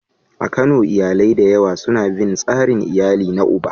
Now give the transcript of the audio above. A Kano, iyalai da yawa suna bin tsarin iyali na uba.